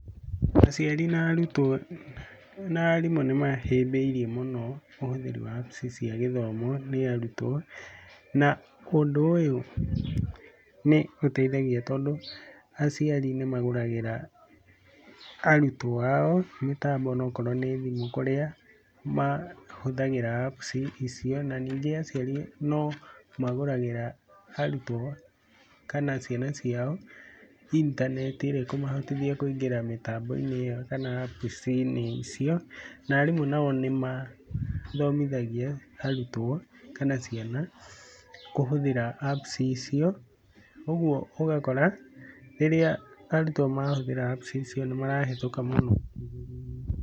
Aciari na aarimũ nĩ mahĩmbĩirie mũno ũhũthĩri wa apps cia gĩthomo nĩ arutwo ao na ũndũ ũyũ nĩũndũ nĩmagũragĩra arutwo ao mĩtambo ona akorwo nĩ thimũ kũrĩa mahũthagĩra apps icio na ningĩ aciari acio no magũragĩra arutwo kana ciana ciao intaneti iria ikũmahotithia kũingĩra mĩtambo-inĩ ĩyo kana apps-inĩ icio, na arimũ nao nĩmathomithagia arutwo kana ciana kũhũthĩra apps icio, ũguo ũgakora rĩrĩa arutwo mahuthĩra apps icio nĩmarahetũka mũno.